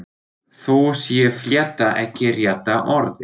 Þó sé flétta ekki rétta orðið.